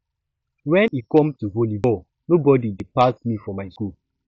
wen e come to volley ball nobody dey pass me for my school